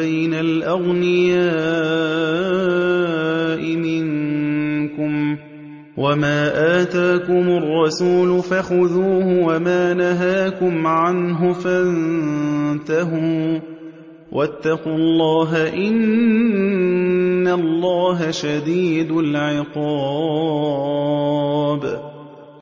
بَيْنَ الْأَغْنِيَاءِ مِنكُمْ ۚ وَمَا آتَاكُمُ الرَّسُولُ فَخُذُوهُ وَمَا نَهَاكُمْ عَنْهُ فَانتَهُوا ۚ وَاتَّقُوا اللَّهَ ۖ إِنَّ اللَّهَ شَدِيدُ الْعِقَابِ